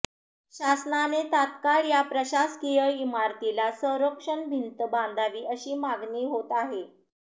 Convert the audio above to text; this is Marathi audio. शासनाने तात्काळ या प्रशासकीय इमारतीला संरक्षण भिंत बांधावी अशी मागणी होत आहे